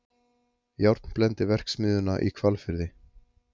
Járnblendiverksmiðjuna í Hvalfirði.